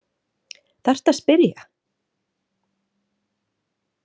Þarftu að spyrja?